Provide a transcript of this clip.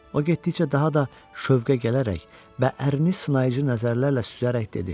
O getdikcə daha da şövqə gələrək və ərini sınayıcı nəzərlərlə süzərək dedi: